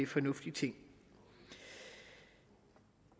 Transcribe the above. fornuftig ting vi